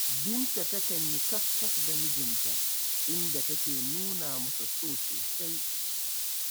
Binta takan yi kafkaf da mijinta, inda take nuna masa so sosai.